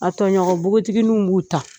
A toɲɔgɔ npogotigininw b'u ta.